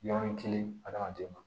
Yɔrɔnin kelen adamaden ma